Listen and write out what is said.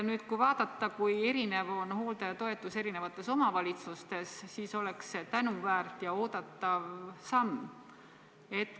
Arvestades, kui erinev on hooldajatoetus erinevates omavalitsustes, siis oleks see tänuväärt ja oodatav samm.